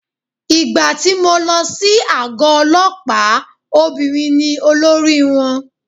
Ìgbà tí mo lọ sí àgọ́ ọlọ́pàá obìnrin ni olórí wọn.